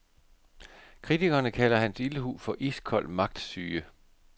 Kritikerne kalder hans ildhu for iskold magtsyge.